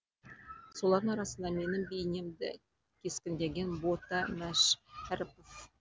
солардың арасында менің бейнемді кескіндеген бота мәшірәпов